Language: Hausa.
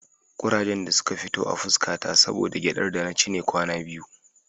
Ƙurajen da suka fito a fuska ta saboda gyaɗar da nake ci ne kwana biyu.